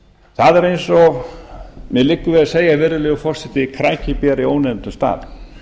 það er eins og mér liggur við að segja virðulegur forseti krækiber í ónefndum stað